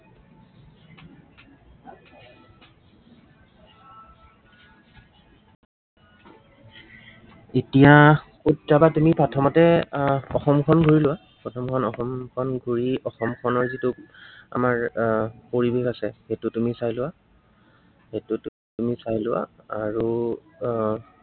এতিয়া কত যাবা তুমি প্ৰথমতে। আহ অসমখন ঘূৰি লোৱা, প্ৰথম প্ৰথম অসমখন ঘূৰি, অসমখনৰ যিটো আমাৰ এৰ পৰিৱেশ আছে, সেইটো তুমি চাই লোৱা। সেইটো তুমি চাই লোৱা আৰু আহ